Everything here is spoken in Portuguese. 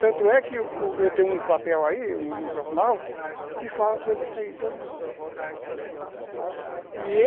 Tanto é que eu tenho um papel aí, um jornal, que fala sobre isso aí todinho.